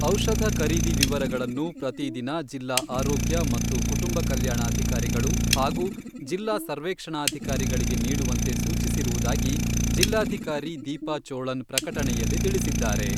ಔಷಧ ಖರೀದಿ ವಿವರಗಳನ್ನು ಪ್ರತಿದಿನ ಜಿಲ್ಲಾ ಆರೋಗ್ಯ ಮತ್ತು ಕುಟುಂಬ ಕಲ್ಯಾಣಾಧಿಕಾರಿಗಳು ಹಾಗೂ ಜಿಲ್ಲಾ ಸರ್ವೇಕ್ಷಣಾಧಿಕಾರಿಗಳಿಗೆ ನೀಡುವಂತೆ ಸೂಚಿಸಿರುವುದಾಗಿ ಜಿಲ್ಲಾಧಿಕಾರಿ ದೀಪಾ ಚೋಳನ್ ಪ್ರಕಟಣೆಯಲ್ಲಿ ತಿಳಿಸಿದ್ದಾರೆ.